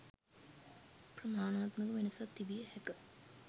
ප්‍රමාණාත්මක වෙනසක් තිබිය හැක